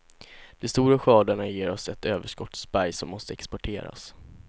De stora skördarna ger oss ett överskottsberg som måste exporteras.